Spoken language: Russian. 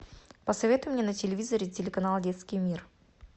посоветуй мне на телевизоре телеканал детский мир